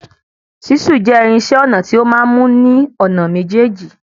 Ṣísù jẹ́ irinṣẹ́ ọnà tí o máa n mú ní ònà méjèjì.